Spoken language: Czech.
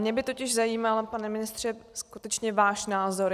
Mě by totiž zajímal, pane ministře, skutečně váš názor.